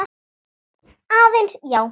Aðeins, já.